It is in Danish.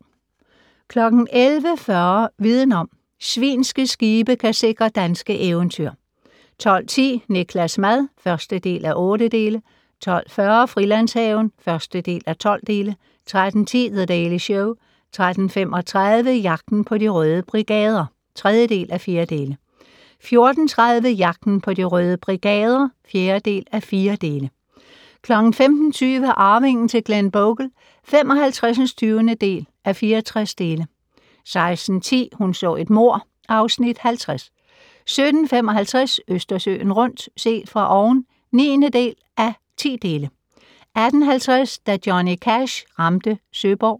11:40: Viden om: Svinske skibe kan sikre danske eventyr 12:10: Niklas' mad (1:8) 12:40: Frilandshaven (1:12) 13:10: The Daily Show 13:35: Jagten på De Røde Brigader (3:4) 14:30: Jagten på De Røde Brigader (4:4) 15:20: Arvingen til Glenbogle (55:64) 16:10: Hun så et mord (Afs. 50) 17:55: Østersøen rundt - set fra oven (9:10) 18:50: Da Johnny Cash ramte Søborg